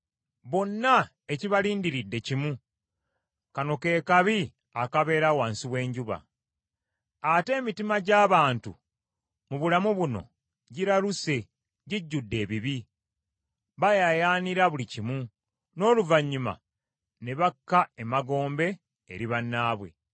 Bonna ekibalindiridde kimu; kano ke kabi akabeera wansi w’enjuba. Ate emitima gy’abantu mu bulamu buno giraluse gijjudde ebibi, bayaayaanira buli kimu; n’oluvannyuma ne bakka emagombe eri bannaabwe.